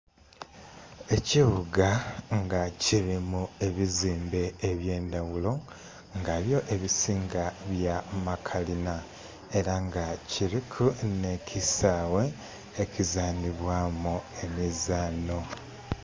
Ekibuga nga kilimu ebizimbe eby'endhaghulo nga byo ebisinga bya makalina ela nga kiliku nh'ekisaghe ekizanhilwamu emizanho.